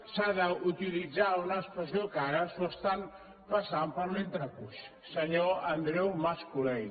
s’ha d’utilitzar una expressió que ara s’ho estan passant per l’entrecuix senyor andreu mas colell